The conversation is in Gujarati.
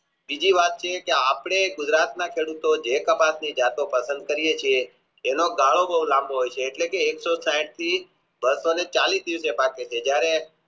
બીજી વાત એ કે આપણે ગુજરાત માં સ્વરૂપે જે પ્રકારની જતો પસંદ કરીયે છીએ એનો પાયો બહુ લાંબો હોય છે એટલે કે એકસો સાહીઠ થી બસો ને ચાલીશ ઉતે સાચો છે જયારે